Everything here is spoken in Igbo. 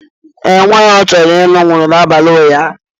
ee, nwaanyị ọchọrọ ịlụ nwụrụ n’abalị ụnyahụ